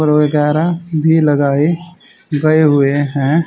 और वगैरह भी लगाए गए हुए हैं।